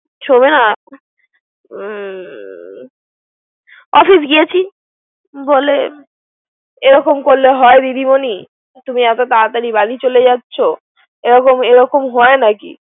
সোমনে হুম অফিস গিয়েছি বলে এরকম করলে হয় দিদি মনি? তুমি এত তারাতারি বাড়ি চলে যাচ্ছো। এরকম হয় নাকি।